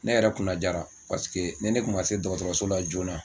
Ne yɛrɛ kunna jara paseke ni ne kun ma se dɔkɔtɔrɔso la joona